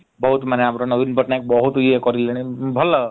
ବହୁତ୍ ମାନେ ଆମର ନବୀନ ପଟ୍ଟନାୟକ ବହୁତ୍ ଇଏ କରିଲେଣି ଭଲ ।